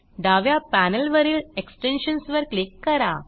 डाव्या पॅनेलवरील एक्सटेन्शन्स वर क्लिक करा